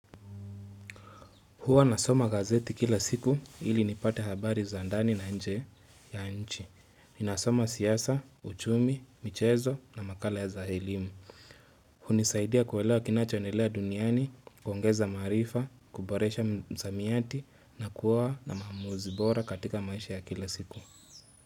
Huwa nasoma gazeti kila siku ili nipate habari za andani na nje ya nchi. Ninasoma siasa, uchumi, michezo na makala ya za elimu. Hunisaidia kuelewa kinachoendelea duniani, kukongeza marifa, kuboresha msamiati na kuwa na maamuzi bora katika maisha ya kila siku.